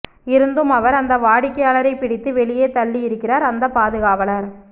இருந்தும் அவர் அந்த வாடிக்கையாளரைப் பிடித்து வெளியே தள்ளியிருக்கிறார் அந்த பாதுகாவலர்